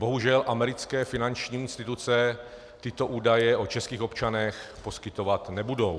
Bohužel americké finanční instituce tyto údaje o českých občanech poskytovat nebudou.